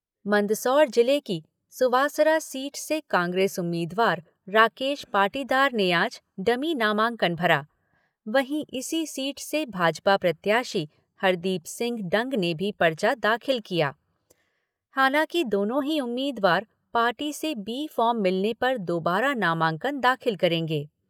मंदसौर जिले की सुवासरा सीट से कांग्रेस उम्मीदवार राकेश पाटीदार ने आज डमी नामांकन भरा, वहीं इसी सीट से भाजपा प्रत्याशी हरदीप सिंह डंग ने भी पर्चा दाखिल किया, हालांकि दोनों ही उम्मीदवार पार्टी से बी फ़ॉर्म मिलने पर दोबारा नामांकन दाखिल करेंगे।